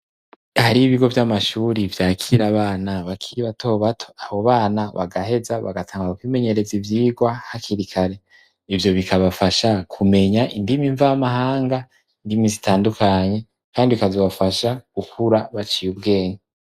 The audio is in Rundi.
Hari ibigo vy'amashuri vyakira bana bakiri batobato abo bana bagaheza bagatanga ku bimenyereza ivyirwa hakirikare ivyo bikabafasha kumenya indimi mvamahanga indimi zitandukanye, kandi kazobafasha gukura baciye ubwenge.